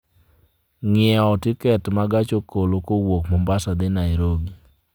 ng'iewo tiket ma gach okolokowuok mombasa dhi nairobi